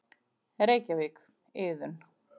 Reykjavík, Iðunn.